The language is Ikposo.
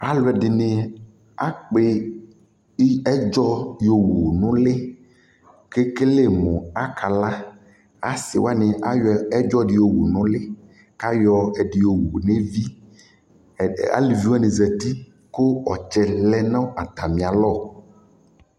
Alʋ ɛdɩnɩ akpɩ i ɛdzɔ yɔwu nʋ ʋlɩ kʋ ekele mʋ akala Asɩ wanɩ ayɔ ɛdzɔ dɩ yɔwu nʋ ʋlɩ kʋ ayɔ ɛdɩ yɔwu nʋ evi Ɛd aluvi wanɩ zati kʋ ɔtsɛ lɛ nʋ atamɩalɔ